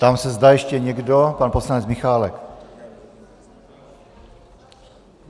Ptám se, zda ještě někdo - pan poslanec Michálek.